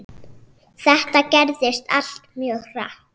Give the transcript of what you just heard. Þetta gerðist allt mjög hratt.